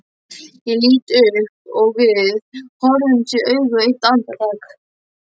Ég lít upp og við horfumst í augu eitt andartak.